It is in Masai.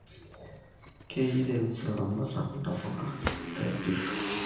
keirim ilaramatak ntapuka teetishu